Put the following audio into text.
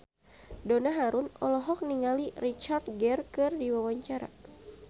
Donna Harun olohok ningali Richard Gere keur diwawancara